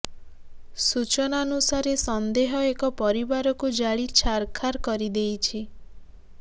ସୂଚନାନୁସାରେ ସନ୍ଦେହ ଏକ ପରିବାରକୁ ଜାଳି ଛାରଖାର କରି ଦେଇଛି